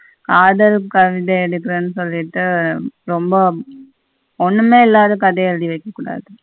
ஆதல் எடுக்க்குரனு சொல்லிட்டு ரெம்ப ஒன்னுமே இல்லாத கதைய எழுதி வச்சிருந்தாரு.